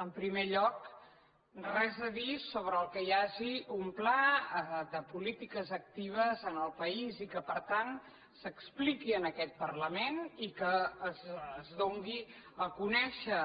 en primer lloc res a dir sobre que hi hagi un pla de polítiques actives en el país i que per tant s’expliqui en aquest parlament i que es doni a conèixer